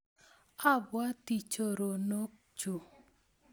Abwotii choronokchu.